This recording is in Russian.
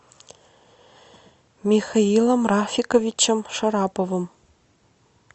михаилом рафиковичем шараповым